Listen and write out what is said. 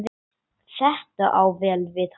Þetta á vel við hann.